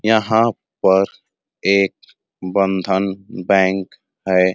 यहाँ पर एक बंधन बैंक है।